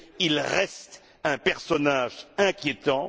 Il reste un personnage inquiétant.